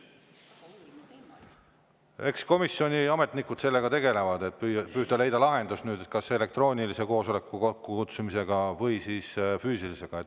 Eks komisjoni ametnikud sellega tegelevad, et püüda leida lahendus kas elektroonilise või füüsilise koosoleku kokkukutsumisega.